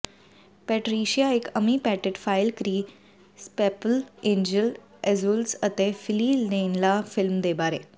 Patricia ਇਕ Amy Petit ਫਾਈਲ ਕ੍ਰੀ ਸੈਪੈਪਲ ਏਂਜਲ ਐਂਜੁਅਲ ਅਤੇ ਫਿਲੀ ਲੇਨਲਾ ਫਿ਼ਲਮ ਦੇ ਬਾਰੇ